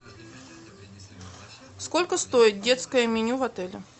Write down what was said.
сколько стоит детское меню в отеле